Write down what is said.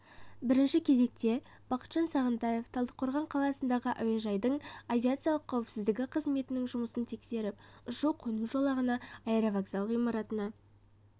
бірінші кезекте бақытжан сағынтаев талдықорған қаласындағы әуежайдың авиациялық қауіпсіздігі қызметінің жұмысын тексеріп ұшу-қону жолағына аэровокзал ғимаратына